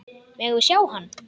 Megum við sjá hann!